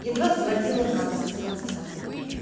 едва сводила концы с концами